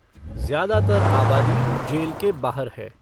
जय़ादातर आबादी जेल के बाहर है।